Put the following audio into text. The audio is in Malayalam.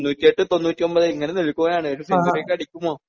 തൊണ്ണൂറ്റി എട്ട് തൊണ്ണൂറ്റി ഒൻപത് ഇങ്ങനെ നിൽക്കുകയാണ് ഒരു സെഞ്ചുറി ഒക്കെ അടിക്കുമോ?